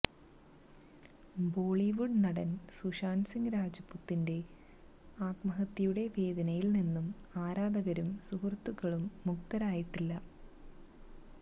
ബോളിവുഡ് നടന് സുശാന്ത് സിങ് രജ്പുതിന്റെ ആത്മഹത്യയുടെ വേദനയില് നിന്നും ആരാധകരും സുഹൃത്തുക്കളും മുക്തരായിട്ടില്ല